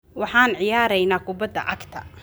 Waxaan ciyaareynaa kubbadda cagta